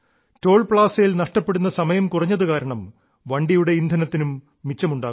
toll പ്ലാസയിൽ നഷ്ടപ്പെടുന്ന സമയം കുറഞ്ഞതു കാരണം വണ്ടിയുടെ ഇന്ധനത്തിനും മിച്ചമുണ്ടാകുന്നു